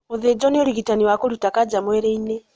Gũthĩnjwo nĩ ũrigitani wa kũrũta kanja mwĩrĩ-inĩ